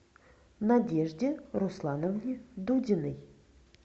надежде руслановне дудиной